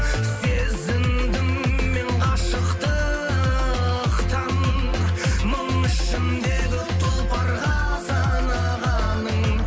сезіндім мен ғашықтықтың мың ішіндегі тұлпарға санағаның